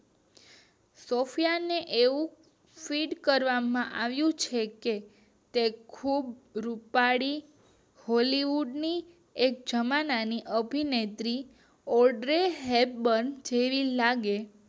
સૉફયાને એવું સિદ્ધ કરવામાં આવ્યું છે તે ખુબ રૂપાળા બૉલીવુડ ની એક જમાનાની અભિનેત્રી ઓઢી હેરબન જેવી લાગે